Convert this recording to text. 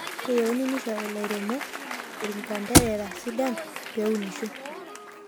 keyieni nishori laremok irnganderera sidan peunisho